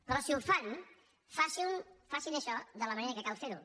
però si ho fan facin·ho facin això de la manera que cal fer·ho